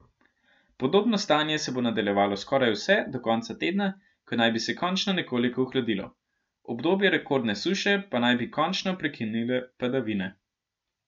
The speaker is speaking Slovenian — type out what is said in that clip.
Podobno stanje se bo nadaljevalo skoraj vse do konca tedna, ko naj bi se končno nekoliko ohladilo, obdobje rekordne suše pa naj bi končno prekinile padavine.